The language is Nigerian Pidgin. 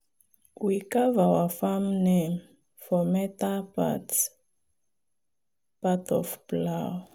we carve our farm name for metal part part of plow.